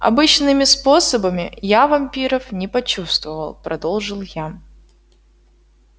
обычными способами я вампиров не почувствовал продолжил я